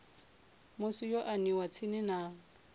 musi yo aniwa tsini na